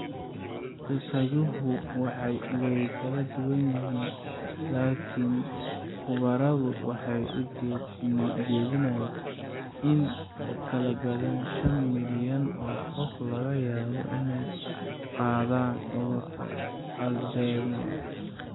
Qiyaasuhu way kala duwan yihiin, laakiin khubaradu waxay soo jeedinayaan in in ka badan shaan milyan oo qof laga yaabo inay qabaan cudurka Alzheimers.